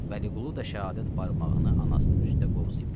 Vəliqulu da şəhadət barmağını anasının üstə qozlayıb dedi: